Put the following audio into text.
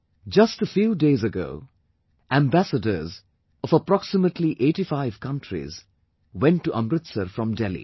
Just a few days ago, Ambassadors of approximately eightyfive countries went to Amritsar from Delhi